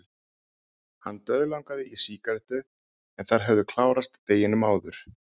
Hann dauðlangaði í sígarettu en þær höfðu klárast deginum áður.